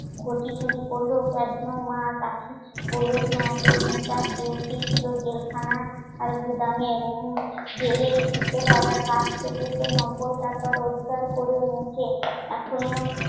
ঘটি চুরি করলো, মা, কাশি, বলদ না, এতদিন তার ডিউটি ছিল জেলখানা আর গুদামের কাজ করছে নব্বই টাকা রোজগার করে এনেছে